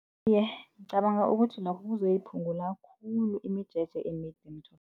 Iye, ngicabanga ukuthi nokho kuzoyiphungula khulu imijeje emide emitholapilo.